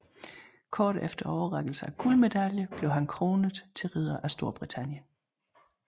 Kort efter overrækkelsen af guldmedaljen blev han kronet til ridder af Storbritannien